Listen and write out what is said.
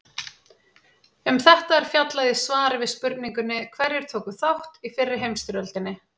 Um þetta er fjallað í svari við spurningunni Hverjir tóku þátt í fyrri heimsstyrjöldinni?